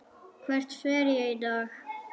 Hvert fer ég í dag?